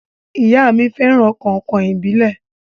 Ìyá mí fẹràn kàìnkàìn ìbílẹ̀.